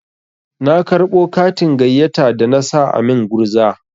Na karɓo katin gayyata da na sa a min gurza.